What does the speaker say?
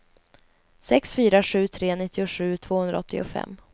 sex fyra sju tre nittiosju tvåhundraåttiofem